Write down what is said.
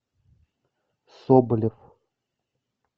соболев